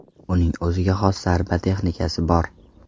Uning o‘ziga xos zarba texnikasi bor.